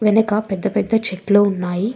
వెనక పెద్ద పెద్ద చెట్లు ఉన్నాయి.